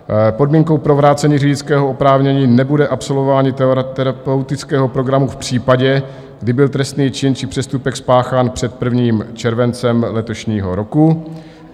Podmínkou pro vrácení řidičského oprávnění nebude absolvování terapeutického programu v případě, kdy byl trestný čin či přestupek spáchán před 1. červencem letošního roku.